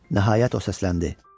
Nəhayət o səsləndi: